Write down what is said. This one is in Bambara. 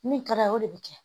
Min kɛra o de bɛ kɛ